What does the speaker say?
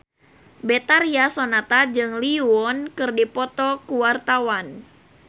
Betharia Sonata jeung Lee Yo Won keur dipoto ku wartawan